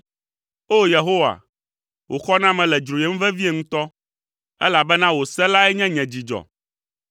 O! Yehowa, wò xɔname le dzroyem vevie ŋutɔ, elabena wò se lae nye nye dzidzɔ.